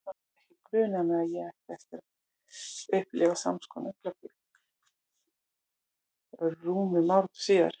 Ekki grunaði mig að ég ætti eftir að upplifa sams konar augnablik rúmum áratug síðar.